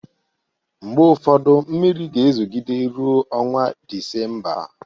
Oge ụfọdu mmiri ga-ezogide ruo ọnwa Disemba